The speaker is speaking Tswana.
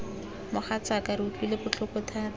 mogatsaaka re utlwile botlhoko thata